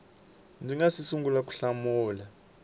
nga si sungula ku hlamula